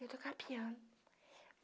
Ele tocava piano.